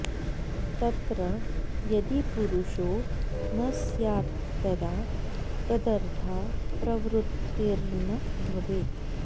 तत्र यदि पुरुषो न स्यात्तदा तदर्था प्रवृत्तिर्न भवेत्